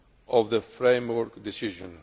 of the framework decision.